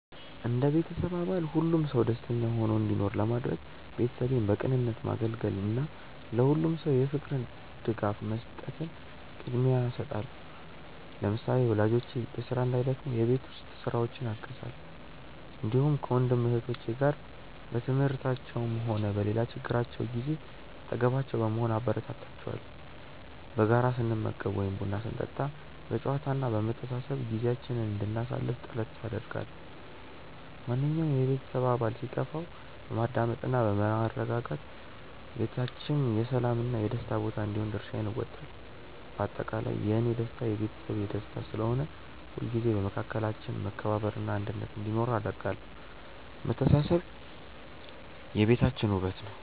እንደ ቤተሰብ አባል ሁሉም ሰው ደስተኛ ሆኖ እንዲኖር ለማድረግ፣ ቤተሰቤን በቅንነት ማገልገልን እና ለሁሉም ሰው የፍቅር ድጋፍ መስጠትን ቅድሚያ እሰጣለሁ። ለምሳሌ፣ ወላጆቼ በስራ እንዳይደክሙ የቤት ውስጥ ስራዎችን አግዛለሁ፣ እንዲሁም ከወንድም እህቶቼ ጋር በትምህርታቸውም ሆነ በሌላ ችግራቸው ጊዜ አጠገባቸው በመሆን አበረታታቸዋለሁ። በጋራ ስንመገብ ወይም ቡና ስንጠጣ በጨዋታ እና በመተሳሰብ ጊዜያችንን እንድናሳልፍ ጥረት አደርጋለሁ። ማንኛውም የቤተሰብ አባል ሲከፋው በማዳመጥ እና በማረጋጋት ቤታችን የሰላም እና የደስታ ቦታ እንዲሆን የድርሻዬን እወጣለሁ። በአጠቃላይ፣ የእኔ ደስታ የቤተሰቤ ደስታ ስለሆነ፣ ሁልጊዜም በመካከላችን መከባበር እና አንድነት እንዲኖር አደርጋለሁ። መተሳሰብ የቤታችን ውበት ነው።